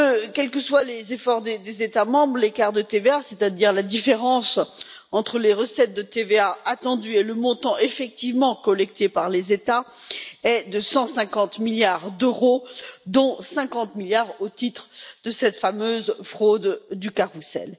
Quels que soient les efforts des États membres, l'écart de TVA c'est à dire la différence entre les recettes de TVA attendues et le montant effectivement collecté par les États est de 150 milliards d'euros, dont 50 milliards dus à cette fameuse fraude du carrousel.